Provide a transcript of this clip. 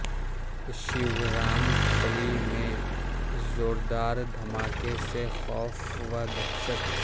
شیورام پلی میں زور دار دھماکہ سے خوف و دہشت